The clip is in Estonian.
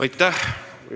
Aitäh!